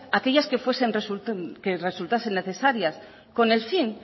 aquellas que resultasen necesarias con el fin